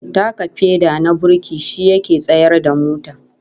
Taka feda na burki shi yake tsayar da mota